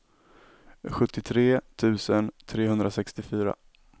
sjuttiotre tusen trehundrasextiofyra